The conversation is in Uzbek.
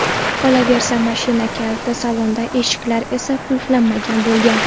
Qolaversa, mashina kaliti salonda, eshiklar esa qulflanmagan bo‘lgan.